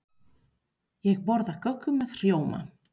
Ég borða köku með rjóma.